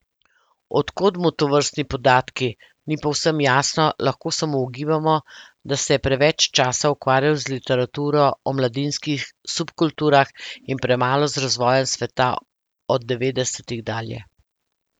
Od kod mu tovrstni podatki, ni povsem jasno, lahko samo ugibamo, da se je preveč časa ukvarjal z literaturo o mladinskih subkulturah in premalo z razvojem sveta od devetdesetih dalje.